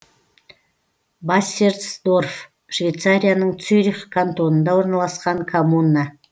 бассерсдорф швейцарияның цюрих кантонында орналасқан коммуна